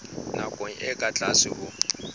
nakong e ka tlase ho